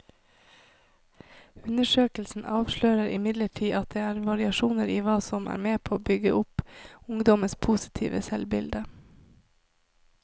Undersøkelsen avslører imidlertid at det er variasjoner i hva som er med på å bygge opp ungdommenes positive selvbilde.